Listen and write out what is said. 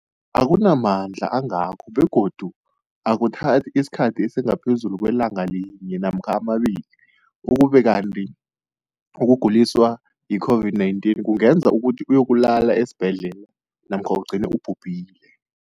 akuna mandla angako begodu akuthathi isikhathi esingaphezulu kwelanga linye namkha mabili, ukube kanti ukuguliswa yi-COVID-19 kungenza ukuthi uyokulala esibhedlela namkha ugcine ubhubhile.